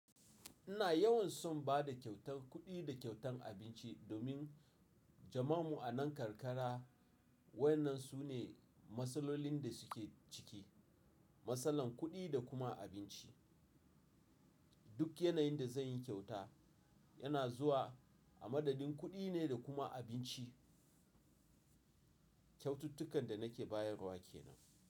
Ina yawan son bada kyautan kuɗi da kyautan abinci domin jama'an mu a nan karkara wa'yannan sune matsalolin da suke ciki. Matsalar kuɗi da kuma abinci. Duk yanayin da zan yi kyauta yana zuwa a madadin kuɗi ne da kuma abinci. Kyaututtukan da nake bayarwa ke nan.